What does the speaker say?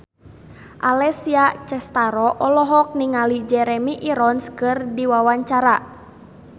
Alessia Cestaro olohok ningali Jeremy Irons keur diwawancara